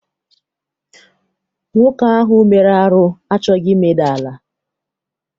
Nwoke ahụ mere arụ achọghị imeda ala.